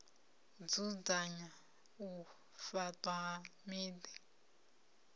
dzudzanya u faṱwa ha miḓi